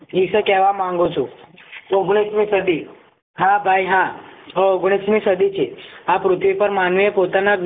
ઓગણીસ મી સદી હા ભાઈ હા ઓગણીસ મી સદી થી આ પૃથ્વી પર માનવી એ પોતાના